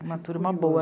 Uma turma boa.